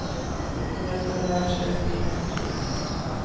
Det vore ett oerhört slöseri med energi.